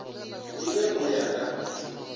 e be go ya ka